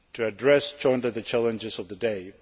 than ever in addressing jointly the challenges